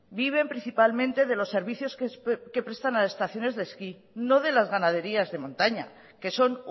viven principalmente de los servicios que prestan a estaciones de esquí no de las ganaderías de montaña que son